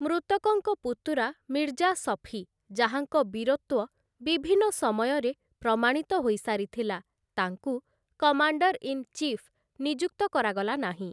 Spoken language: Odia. ମୃତକଙ୍କ ପୁତୁରା ମିର୍ଜା ଶଫୀ, ଯାହାଙ୍କ ବୀରତ୍ୱ ବିଭିନ୍ନ ସମୟରେ ପ୍ରମାଣିତ ହୋଇସାରିଥିଲା, ତାଙ୍କୁ କମାଣ୍ଡର ଇନ୍‌ ଚିଫ୍‌ ନିଯୁକ୍ତ କରାଗଲାନାହିଁ ।